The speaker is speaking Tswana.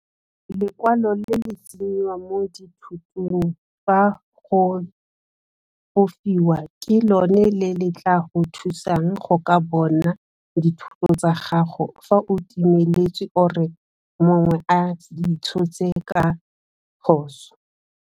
Lekwalo le le tsenyiwang mo dithotong fa go fofiwa ke lone le le tla go thusang go ka bona dithoto tsa gago fa o timeletswe or e mongwe a di tshotse ka phoso.